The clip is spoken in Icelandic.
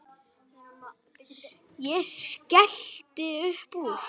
Ég skellti upp úr.